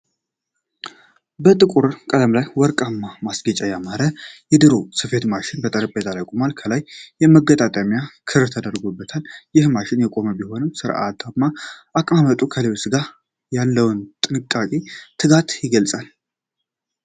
በጥቁር ቀለም ላይ በወርቃማ ማስጌጫ ያማረ የድሮ ስፌት ማሽን በጠረጴዛ ላይ ቆሟል። ከላይ የመገጣጠሚያ ክር ተደርጎበታል። ይህ ማሽን የቆየ ቢሆንም ሥርዓታማ አቀማመጡ ከልብስ ሥራ ጋር ያለውን ጥንቃቄና ትጋት ይገልጻል።